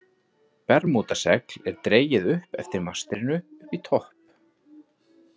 Bermúdasegl er dregið upp eftir mastrinu upp í topp.